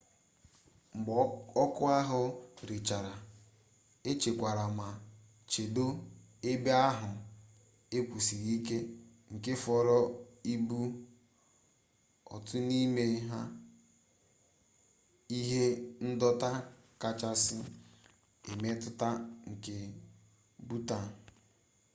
mgbe ọkụ ahụ rechara echekwara ma chedo ebe ahụ ewusiri ike nke fọrọ ịbụ otu n'ime ihe ndọta kachasị emetụta nke bhutan